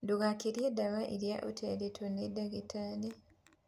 Ndugakirie dawa irĩa utaritwo ni ndagĩtarĩ